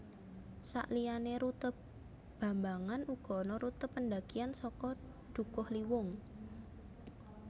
Sakliyané rute bambangan uga ana rute pendakian saka Dukuhliwung